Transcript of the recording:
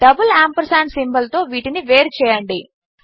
double ampersand symbol తో వీటిని వేరుచేయండి